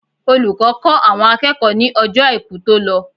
Olùkọ́ kọ́ àwọn akẹ́kọ̀ọ́ ní Ọjọ́ Àìkú tó lọ.